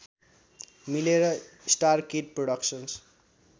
मिलेर Starkid productions